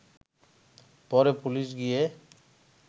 পরে পুলিশ গিয়ে